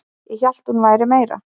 Ég hélt að hún væri meira